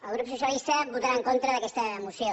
el grup socialista votarà en contra d’aquesta moció